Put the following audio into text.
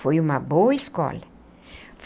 Foi uma boa escola.